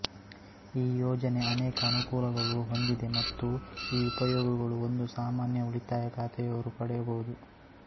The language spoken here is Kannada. ಈ ಯೋಜನೆ ಅನೇಕ ಅನುಕೂಲಗಳು ಹೊಂದಿದೆಮತ್ತು ಈ ಉಪಯೋಗಗಳು ಒಂದು ಸಾಮಾನ್ಯ ಉಳಿತಾಯ ಖಾತೆಯವರು ಪಡೆಯಬವುದು